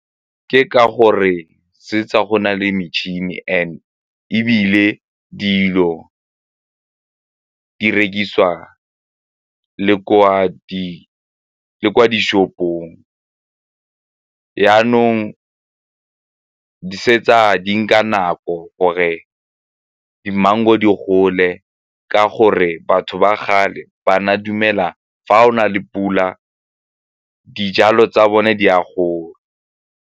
Ke ka gore tsa go na le metšhini and-e ebile dilo di rekisiwa le kwa di-shop-ong, jaanong fetsa di nka nako gore di-mango di gole ka gore batho ba kgale ba na dumela fa o na le pula, dijalo tsa bone di a gola.